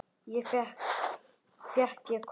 Fékk ég hvað?